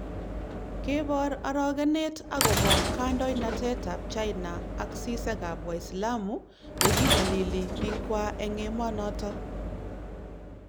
Kebor arogenet akobo kandoinatetab China ak sisekab waislamu yekinyolili bikwa eng emonoto